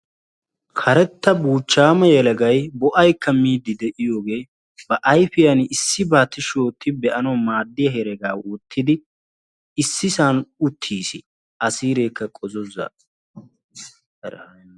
karetta buuchchaama yelagay bo'aykka miidi de'iyooge ba ayfiyaani issibaa tishshi ooti be'anawu maadiya heregaa wottidi issisaani autiisi, siireekka qozzozza.